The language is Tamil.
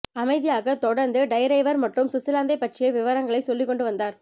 அமைதியாக தொடர்ந்து டைறைவர் மட்டும் சுவிட்சலாந்தைப் பற்றிய விபரங்களை சொல்லிக்கொண்டுவந்தார்